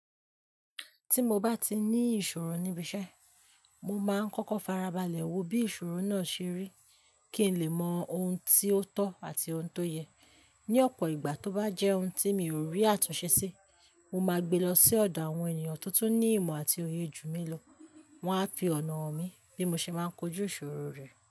Tí mo bá ti ní ìṣòro níbi iṣẹ́, mo máa ń kọ́kọ́ farabalẹ̀ wo bí ìṣòro náà ṣe rí kí n lè mọ ohun tí ó tọ́ àti ohun tó yẹ. Ni ọ̀pọ̀ ìgbà tó bá jẹ́ ohun tí mi ò rí àtúnṣe sí, mo máa gbe lọ sí ọ̀dọ̀ àwọn ènìyàn to tun ní ìmọ̀ àti oyè jú mi lo. Wọn á fi ọ̀nà hàn mí bí mo ṣe máa ń kojú ìṣòro rẹ.